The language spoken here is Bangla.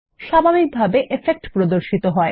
স্বাভাবিকভাবে ইফেক্ট প্রদর্শিত হয়